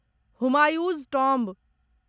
Humayun's tomb